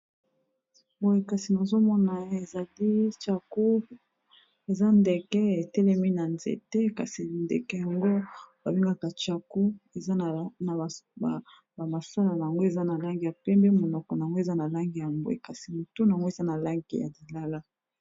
boe kasi mazomona ezali chacou eza ndeke etelemi na nzete kasi ndeke yango babengaka chacou ea na bamasala yango eza na langi ya pembe monoko ango eza na langi ya bwe kasi motunu yango eza na lange ya lilala